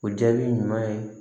O jaabi ɲuman ye